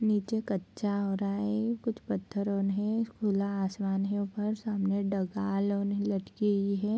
नीचे कच्चा हो रहा है कुछ पत्थर ओन है खुला आसमान है ऊपर सामने डगाल ओन् हे लटकी हुई है।